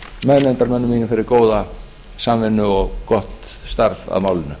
meðnefndarmönnum mínum fyrir góða samvinnu og gott starf að málinu